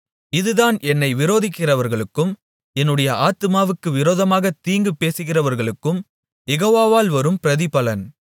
இதுதான் என்னை விரோதிக்கிறவர்களுக்கும் என்னுடைய ஆத்துமாவுக்கு விரோதமாகத் தீங்கு பேசுகிறவர்களுக்கும் யெகோவாவால் வரும் பிரதிபலன்